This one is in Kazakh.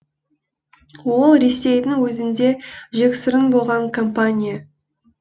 ол ресейдің өзінде жексұрын болған компания